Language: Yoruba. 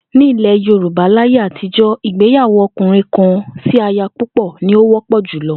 Ní ilè̩ Yorùbá láyé àtijo̩, ìgbéyàwó o̩kùnrin-kan-sí-aya-púpò̩ ní ó wó̩pò̩ jùlo̩